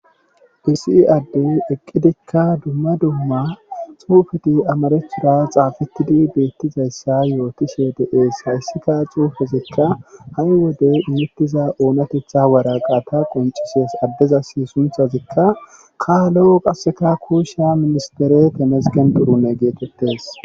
Disii adde eqqidikka dumma dumma suufeti amarethura xaafettidi beettizayssa yootishe deees hayssika xuufezikka ha7i wode imettiza oonatetha waraqata qoncises addeza si sunthazikka kaalo qasseka kuusha ministere temesgen durunne geetettes